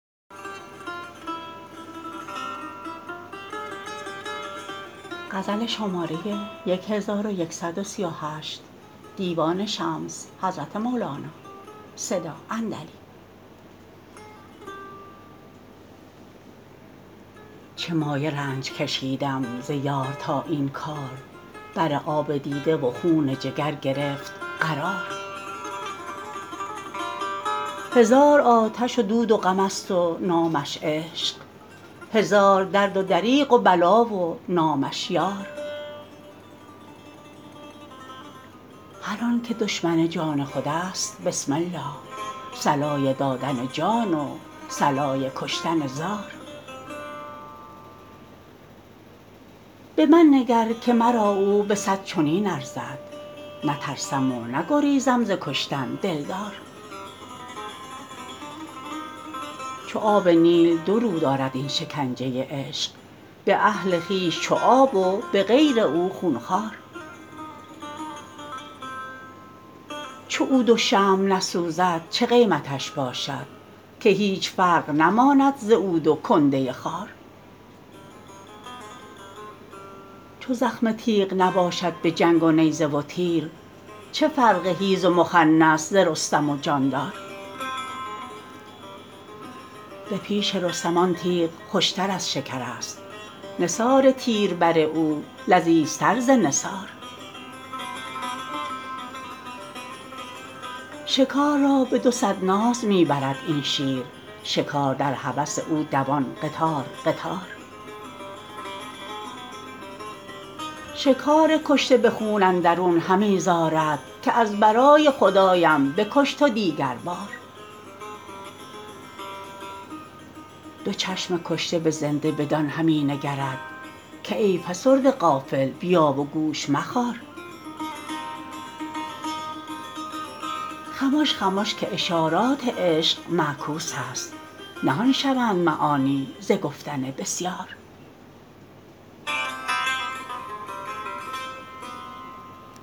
چه مایه رنج کشیدم ز یار تا این کار بر آب دیده و خون جگر گرفت قرار هزار آتش و دود و غمست و نامش عشق هزار درد و دریغ و بلا و نامش یار هر آنک دشمن جان خودست بسم الله صلای دادن جان و صلای کشتن زار به من نگر که مرا او به صد چنین ارزد نترسم و نگریزم ز کشتن دلدار چو آب نیل دو رو دارد این شکنجه عشق به اهل خویش چو آب و به غیر او خون خوار چو عود و شمع نسوزد چه قیمتش باشد که هیچ فرق نماند ز عود و کنده خار چو زخم تیغ نباشد به جنگ و نیزه و تیر چه فرق حیز و مخنث ز رستم و جاندار به پیش رستم آن تیغ خوشتر از شکرست نثار تیر بر او لذیذتر ز نثار شکار را به دوصد ناز می برد این شیر شکار در هوس او دوان قطار قطار شکار کشته به خون اندرون همی زارد که از برای خدایم بکش تو دیگربار دو چشم کشته به زنده بدان همی نگرد که ای فسرده غافل بیا و گوش مخار خمش خمش که اشارات عشق معکوسست نهان شوند معانی ز گفتن بسیار